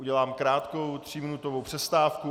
Udělám krátkou, tříminutovou přestávku.